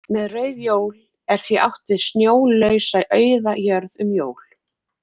Með rauð jól er því átt við snjólausa auða jörð um jól.